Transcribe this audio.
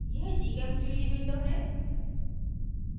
यह gchem3d window है